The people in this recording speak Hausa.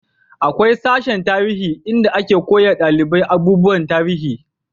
akwai sashen tarihi inda ake koya dalibai abubuwan tarihi